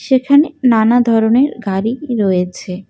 সেখানে নানা ধরনের গাড়ি রয়েছে।